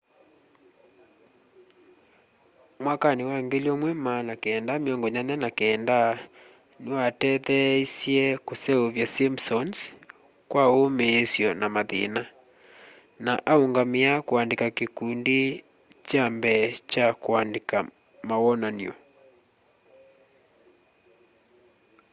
mwakanĩ wa 1989 nĩwateetheĩsye kũseũvya sĩmpsons kwa ũmĩsyo na mathĩna na aũngamĩa kũandĩka kĩkũndĩ kya mbee kya kũandĩka mawonan'o